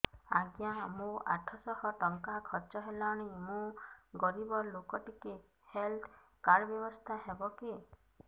ଆଜ୍ଞା ମୋ ଆଠ ସହ ଟଙ୍କା ଖର୍ଚ୍ଚ ହେଲାଣି ମୁଁ ଗରିବ ଲୁକ ଟିକେ ହେଲ୍ଥ କାର୍ଡ ବ୍ୟବସ୍ଥା ହବ କି